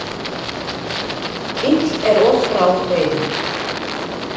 Ill er of bráð reiði.